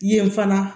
Yen fana